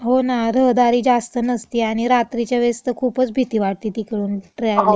हो ना. रहदारी जास्त नसती आणि रात्रीच्या वेळीस तं खुपच भीती वाटती तिकडून ट्रॅव्हलिंग